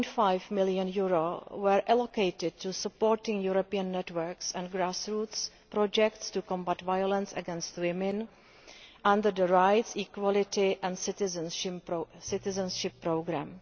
9.5 million were allocated to supporting European networks and grassroots projects to combat violence against women under the Rights, Equality and Citizenship Programme.